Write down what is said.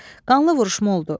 Qanlı vuruşma oldu.